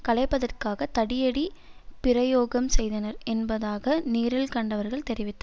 கலைப்பதற்காக தடியடி பிரையோகம் செய்தனர் என்பதாக நேரில் கண்டவர்கள் தெரிவித்து